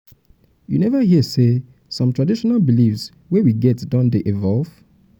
you neva hear sey some traditional beliefs wey we get don dey evolve?